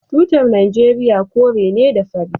Tutar Najeriya kore ne da fari.